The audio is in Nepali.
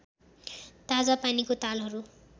ताजा पानीको तालहरू